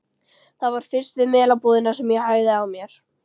Það var fyrst við Melabúðina sem ég hægði á mér.